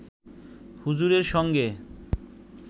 হুজুরের সঙ্গে